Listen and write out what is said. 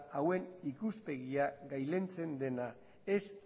hauen ikuspegia gailentzen dena ez